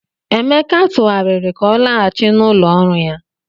Emeka tụgharịrị ka ọ laghachi n'ụlọ ọrụ ya.